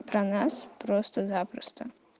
про нас просто запросто